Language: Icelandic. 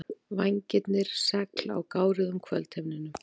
Vængirnir segl á gáruðum kvöldhimninum.